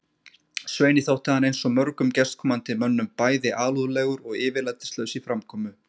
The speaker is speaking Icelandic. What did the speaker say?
Sveini þótti hann eins og mörgum gestkomandi mönnum bæði alúðlegur og yfirlætislaus í framkomu.